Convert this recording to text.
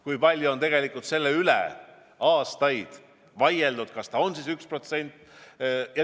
Kui palju on tegelikult aastaid vaieldud, kas see peab olema 1% SKP-st.